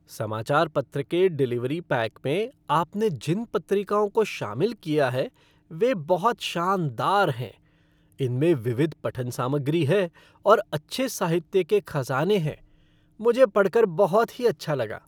समाचार पत्र के डिलीवरी पैक में आपने जिन पत्रिकाओं को शामिल किया है, वे बहुत शानदार हैं। उनमें विविध पठन सामग्री है और अच्छे साहित्य के खजाने हैं। मुझे पढ़ कर बहुत ही अच्छा लगा।